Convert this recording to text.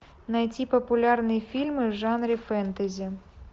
найти популярные фильмы в жанре фэнтези